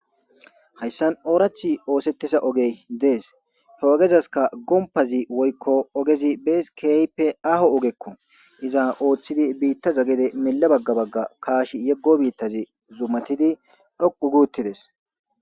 Hausan oorathi ooseyiza ogey dees. He ogezayka gompazi woyko ogezi beesi keehidi ahoko ogeko iza oothidi bittaza gede miye baga bags gede yego bittazi zumati dhoqugi uttides